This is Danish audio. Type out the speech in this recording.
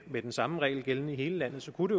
at den samme regel gælder i hele landet så kunne